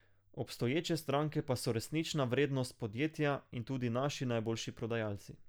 Obstoječe stranke pa so resnična vrednost podjetja in tudi naši najboljši prodajalci.